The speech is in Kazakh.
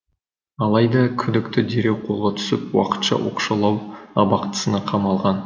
алайда күдікті дереу қолға түсіп уақытша оқшаулау абақтысына қамалған